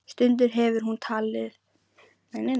Stundum hefur hún haldið til